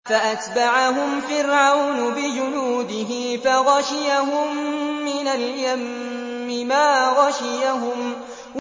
فَأَتْبَعَهُمْ فِرْعَوْنُ بِجُنُودِهِ فَغَشِيَهُم مِّنَ الْيَمِّ مَا غَشِيَهُمْ